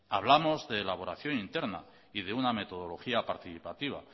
hablamos de elaboración interna y de una metodología participativa